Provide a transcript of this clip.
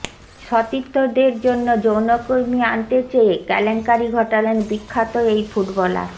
সতীর্থদের জন্য যৌনকর্মী আনতে চেয়ে কেলেঙ্কারি ঘটালেন বিখ্যাত এই ফুটবলার